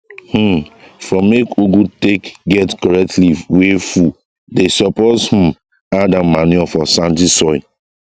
um for make ugu take get correct leave wey full dey suppose um add am manure for sandy soil